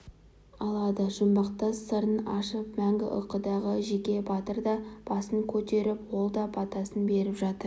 алады жұмбақтас сырын ашып мәңгі ұйқыдағы жекебатыр да басын көтеріп ол да батасын беріп жатыр